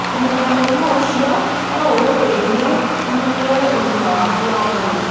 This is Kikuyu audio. Kũmenya mũrimũ ũcio no gũgũteithie ũmenyerere ũgima waku wa mwĩrĩ.